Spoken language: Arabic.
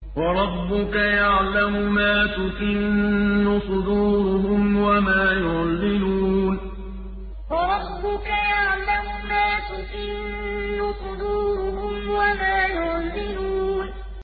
وَرَبُّكَ يَعْلَمُ مَا تُكِنُّ صُدُورُهُمْ وَمَا يُعْلِنُونَ وَرَبُّكَ يَعْلَمُ مَا تُكِنُّ صُدُورُهُمْ وَمَا يُعْلِنُونَ